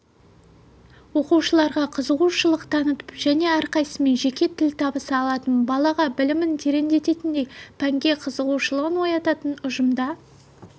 оқушыларға қызығушылық танытып және әрқайсысымен жеке тіл табыса алатын балаға білімін тереңдететіндей пәнге қызығушылығын оятатын ұжымда